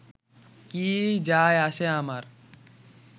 কী যায় আসে আমার